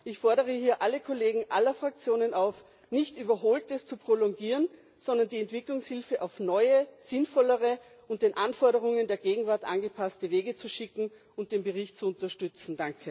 Ich fordere hier alle Kollegen aller Fraktionen auf, nicht Überholtes zu prolongieren, sondern die Entwicklungshilfe auf neue, sinnvollere und an die Anforderungen der Gegenwart angepasste Wege zu schicken und den Bericht zu unterstützen.